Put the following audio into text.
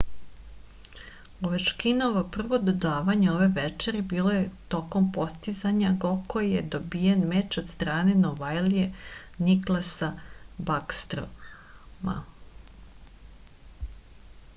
ovečkinovo prvo dodavanje ove večeri bilo je tokom postizanja gokoji je dobijen meč od strane novajlije niklasa bakstroma